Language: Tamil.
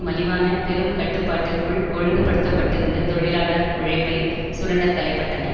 மலிவான பெரும் கட்டுப்பாட்டிற்குள் ஒழுங்குபடுத்தப்பட்டிருந்த தொழிலாளர் உழைப்பை சுரண்ட தலைப்பட்டன